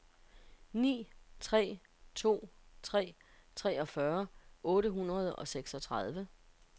ni tre to tre treogfyrre otte hundrede og seksogtredive